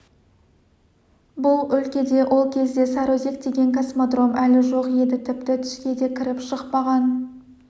бұл өлкеде ол кезде сарыөзек деген космодром әлі жоқ еді тіпті түске де кіріп-шықпаған